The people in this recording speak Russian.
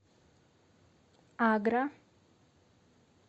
агра